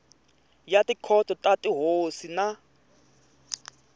ya tikhoto ta tihosi na